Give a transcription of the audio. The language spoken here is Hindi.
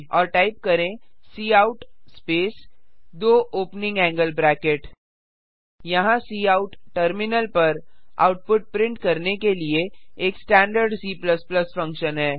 और टाइप करें काउट स्पेस दो ओपनिंग एंगल ब्रैकेट यहाँ काउट टर्मिनल पर आउटपुट प्रिंट करने के लिए एक स्टैंडर्ड C फंक्शन है